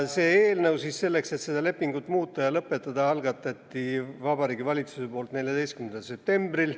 Selle eelnõu, selleks et seda lepingut muuta ja lõpetada, algatas Vabariigi Valitsus 14. septembril.